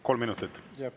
Kolm minutit?